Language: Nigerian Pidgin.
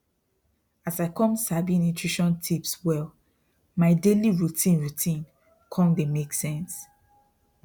as i come sabi nutrition tips well my daily routine routine come dey make sense